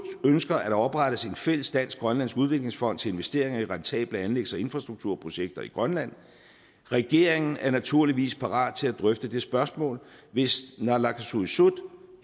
ønsker at der oprettes en fælles dansk grønlandsk udviklingsfond til investeringer i rentable anlægs og infrastrukturprojekter i grønland regeringen er naturligvis parat til at drøfte det spørgsmål hvis naalakkersuisut